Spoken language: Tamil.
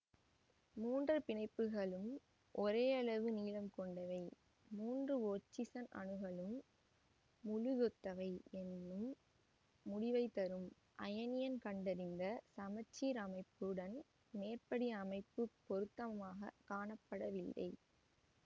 மூன்று பிணைப்புக்களும் ஒரேயளவு நீளம் கொண்டவை மூன்று ஒட்சிசன் அணுக்களும் முழுதொத்தவை என்னும் முடிவைத்தரும் அயனியின் கண்டறிந்த சமச்சீர் அமைப்புடன் மேற்படி அமைப்பு பொருத்தமாக காணப்படவில்லை